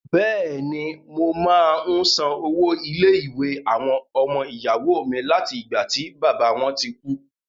Bẹ̀ẹ̀ni, mo máa ń san owó ilé-ìwé àwọn ọmọ ìyàwó mi láti ìgbà tí bàbá wọn ti kú.